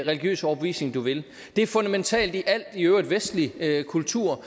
religiøse overbevisning du vil det er fundamentalt i al vestlig kultur